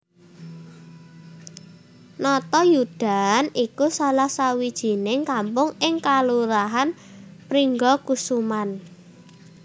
Natayudan iku salah sawijining kampung ing kalurahan Pringgakusuman